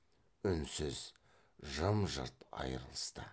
үнсіз жым жырт айрылысты